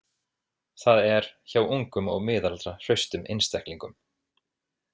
Það er, hjá ungum og miðaldra hraustum einstaklingum.